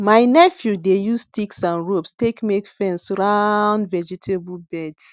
my nephew dey use sticks and ropes take make small fence round vegetable beds